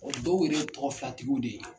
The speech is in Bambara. O dɔw yɛrɛ ye tɔgɔ filatigiw de ye!